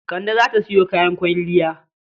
Kande za ta sayo kayan kwalliya.